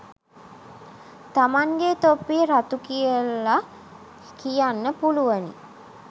තමන්ගෙ තොප්පිය රතු කියල කියන්න පුළුවනි